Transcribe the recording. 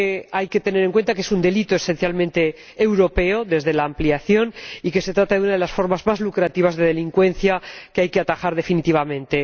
Hay que tener en cuenta que es un delito esencialmente europeo desde la ampliación y que se trata de una de las formas más lucrativas de delincuencia, que hay que atajar definitivamente.